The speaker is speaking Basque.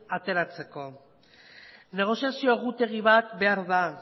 ateratzeko negoziazio egutegi bat behar da